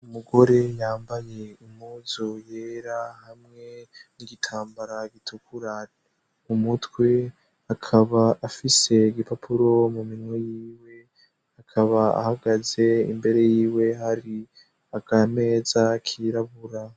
Umugore yambaye impuzu yera hamwe n'igitambara gitukura mu mutwe, akaba afise igipapuro mu minwe yiwe, akaba ahagaze imbere yiwe hari akameza kirabura.